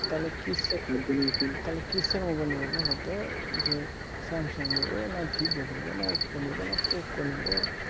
তালে কিসের তালে কিসের mobile নিব বলতো যে samsung নিবো না vivo নিবো না oppo না poco নিবো